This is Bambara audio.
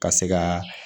Ka se ka